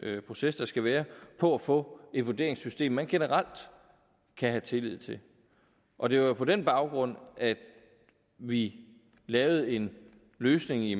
proces der skal være på at få et vurderingssystem man generelt kan have tillid til og det var jo på den baggrund at vi lavede en løsning i